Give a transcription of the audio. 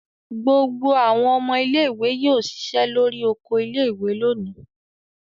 Gbogbo àwọn ọmọ ilé-ìwé yóò ṣiṣẹ́ lórí oko ilé-ìwé lónìí.